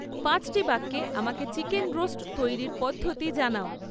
পাঁচটি বাক্যে আমাকে চিকেন রোস্ট তৈরির পদ্ধতি জানাও